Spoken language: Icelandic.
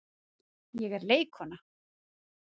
Ég er leikkona.